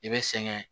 I bɛ sɛgɛn